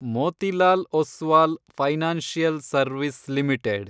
Motilal Oswal Financial Service limited